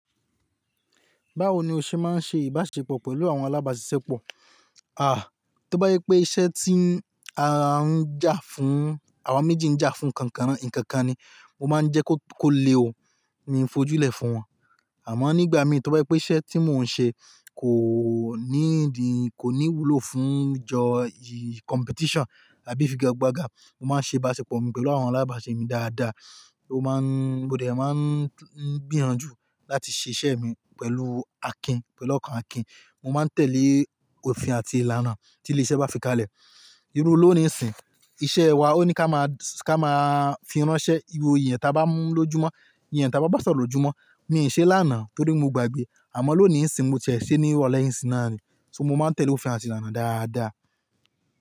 Báwo ni o ṣe máa ń ṣe ìbáṣepọ̀ pẹ̀lú àwọn alábàáṣiṣẹ́ pọ̀? À, tó bá yí pé iṣẹ́ tí a ń jà fún, àwa méjì ń jà fún kan kan na, ǹkakan ni, mo máa ń jẹ́ kó, kó le, mi ò n fojú lẹ̀ fún wọn. Àmọ́ nígbà mí tó bá je pé iṣẹ́ tí mò ń ṣe kò ní ìdí, kò ní ìwúlò fún ìjọ competition àbí figagbaga, mo máa ń ṣe ìbáṣepọ̀ mi pẹ̀lú àwọn alábàáṣe mi dáadáa. Mo má ń, mo dẹ̀ máa ń gbíyànjú láti ṣe iṣẹ́ mi pẹ̀lú Akin, pẹ̀lú ọkàn Akin. Mo máa ń tẹ̀lé òfin àti ìlànà tí ilé-iṣẹ́ bá fi ká lẹ̀. Irú ló ni ìsìn. Iṣẹ́ wa ó ní ká máa, ká máa fi ránṣẹ́, iro eniyan ta bá mú ló júmọ̀, ìyẹ eniyan ta bá bàsọ̀ro lojúmọ̀. Mi ò ṣe lánàá torí mo gbàgbé. Àmọ́ lónìí ńsìn mo tiẹ̀ ṣe ní ìrọ̀lẹ́ yìí ńsìn náà ni. So mo máa ń tẹ̀lé òfin àti ìlànà dáadáa.